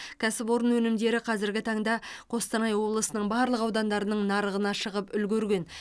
кәсіпорын өнімдері қазіргі таңда қостанай облысының барлық аудандарының нарығына шығып үлгерген